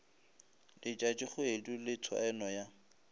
le letšatšikgwedi le tshwaeno ya